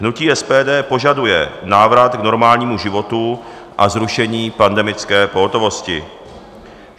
Hnutí SPD požaduje návrat k normálnímu životu a zrušení pandemické pohotovosti.